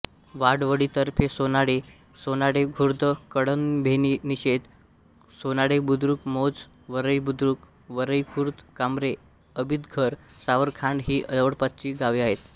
वाडवळीतर्फेसोनाळे सोनाळेखुर्द कळंभेनिशेत सोनाळेबुद्रुक मोज वरईबुद्रुक वरईखुर्द कांबरे आबितघर सावरखांड ही जवळपासची गावे आहेत